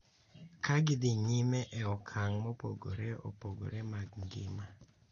Ka gidhi nyime e okang’ mopogore opogore mag ngima,